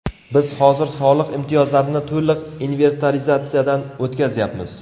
Biz hozir soliq imtiyozlarini to‘liq inventarizatsiyadan o‘tkazyapmiz.